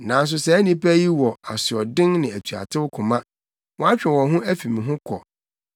Nanso saa nnipa yi wɔ asoɔden ne atuatew koma; wɔatwe wɔn ho afi me ho kɔ.